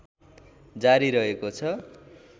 जारी रहेको छ